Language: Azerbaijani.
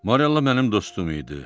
Morella mənim dostum idi.